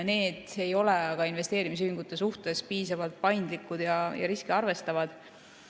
Need ei ole aga investeerimisühingute suhtes piisavalt paindlikud ja riski arvestavad.